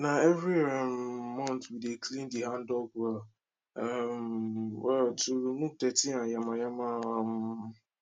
nah every um month we dey clean the handdug well um well to remove dirty and yamayama um